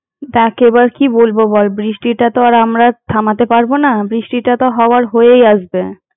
দেখ এবার কি বলবো বল, বৃষ্টিটা তো আমরা থামাতে পারবো না বৃষ্টিটা তো হওয়ার হয়েই আসবে।